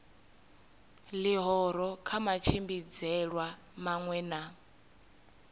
ḽihoro kha matshimbidzelwe maṅwe na